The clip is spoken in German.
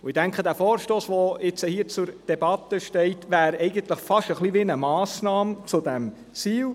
» Ich denke, dieser Vorstoss, der nun hier zur Debatte steht, wäre fast ein wenig eine Massnahme zu diesem Ziel.